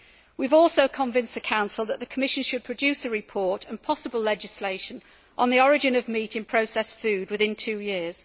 We have also convinced the Council that the Commission should produce a report, and possible legislation, on the origin of meat in processed food within two years.